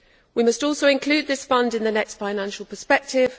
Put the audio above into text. We must also include this Fund in the next financial perspective